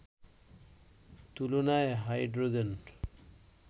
তুলনায় হাইড্রোজেন